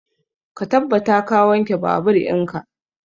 Ka tabbata ka wanke babur in ka!